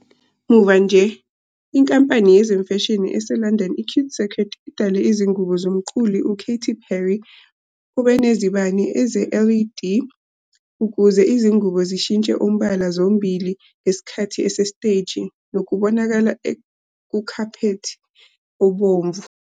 Muva nje, inkampani yezemfashini eseLondon i-CuteCircuit idale izingubo zomculi uKaty Perry obenezibane ze-LED ukuze izingubo zishintshe umbala zombili ngesikhathi sesiteji nokubonakala kukhaphethi obomvu.